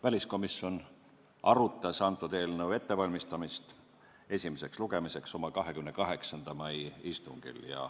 Väliskomisjon valmistas eelnõu esimeseks lugemiseks ette oma 28. mai istungil.